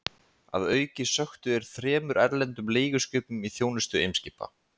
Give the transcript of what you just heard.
Að auki sökktu þeir þremur erlendum leiguskipum í þjónustu Eimskipa.